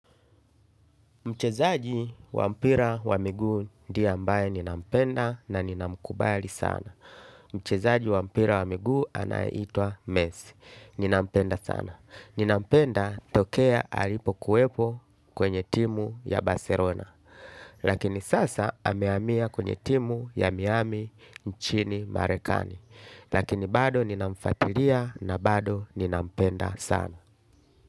Mchezaji wampira wa migu ndiye ambaye ninampenda na ninamkubali sana. Mchezaji wampira wa migu anaitwa mesi. Ninampenda sana. Ninampenda tokea alipo kuwepo kwenye timu ya baserona. Lakini sasa ameamia kwenye timu ya miami nchini marekani. Lakini bado ninamfatilia na bado ninampenda sana.